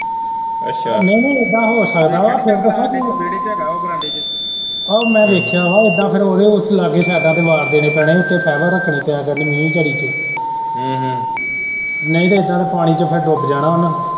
ਅੱਛਾ ਨਹੀਂ ਨਹੀਂ ਏਦਾਂ ਹੋ ਸਕਦਾ ਫੇਰ ਪਤਾ ਕਿ ਵੇਹੜੇ ਚ ਹੈਗਾ ਵਾ ਉਹ ਬਰਾਂਡੇ ਚ ਉਹ ਮੈਂ ਵੇਖਿਆ ਵਾ ਇਸ ਤਰਾਂ ਓਹਦੇ ਲਾਗੇ ਸ਼ਾਗੇ fiber ਰੱਖਣੀ ਪਿਆ ਕਰਨੀ ਮੀਂਹ ਕਣੀ ਚ ਅਮ ਹਮ ਨਹੀਂ ਤੇ ਏਦਾਂ ਤੇ ਫੇਰ ਪਾਣੀ ਚ ਡੁੱਬ ਜਾਣਾ ਓਹਨਾ।